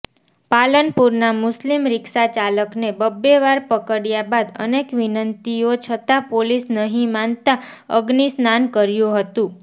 પાલનપુરના મુસ્લિમ રિક્ષાચાલકને બબ્બેવાર પકડ્યા બાદ અનેક વિનંતીઓ છતાં પોલીસ નહીં માનતા અગ્નિસ્નાન કર્યું હતું